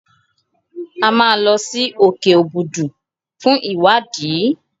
A máa lọ sí òkè Òbùdù fún ìwádìí.